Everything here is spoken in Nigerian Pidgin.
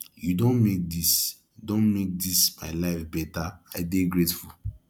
you don make dis don make dis my life beta i dey grateful